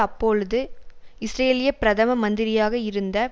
அப்பொழுது இஸ்ரேலிய பிரதம மந்திரியாக இருந்த